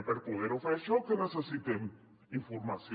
i per poder ho fer això què necessitem informació